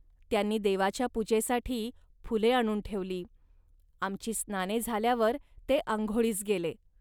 त्यांनी देवाच्या पूजेसाठी फुले आणून ठेवली. आमची स्नाने झाल्यावर ते आंघोळीस गेले